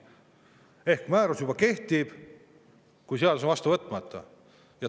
Ehk määrus juba kehtib, kuigi seadus on vastu võtmata.